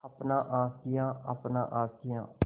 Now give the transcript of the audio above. अपना आशियाँ अपना आशियाँ